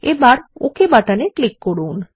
এবার ওকে বাটনে ক্লিক করুন